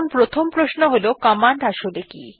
এখন প্রথম প্রশ্ন হল কমান্ড আসলে কি160